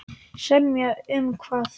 Semja um hvað?